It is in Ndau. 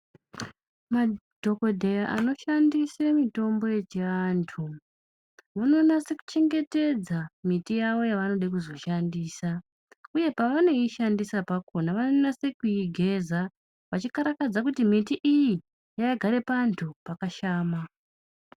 Madhokodheya anoshandisa mutombo yechiantu vanonyatsochengetedza miti yavo yavanoda kuzoshandisa uye pavanoishandisa pakona vanonyatsoigeza vachikarakadza kuti miti iyi yakagara panthu pakashama.